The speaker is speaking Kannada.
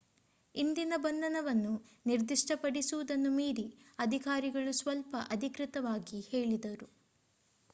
ಇಂದಿನ ಬಂಧನವನ್ನು ನಿರ್ದಿಷ್ಟಪಡಿಸು ವುದನ್ನು ಮೀರಿ ಅಧಿಕಾರಿಗಳು ಸ್ವಲ್ಪ ಅಧಿಕೃತವಾಗಿ ಹೇಳಿದರು